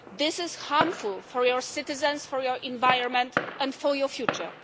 This is harmful for your citizens, for your environment and for your future.